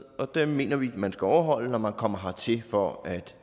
og dem mener vi at man skal overholde når man kommer hertil for at